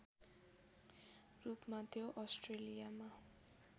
रूपमा त्यो अस्ट्रेलियामा